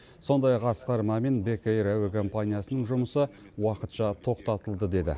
сондай ақ асқар мамин бек эйр әуе компаниясының жұмысы уақытша тоқтатылды деді